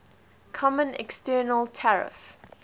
common external tariff